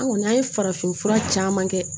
An kɔni an ye farafinfura caman kɛ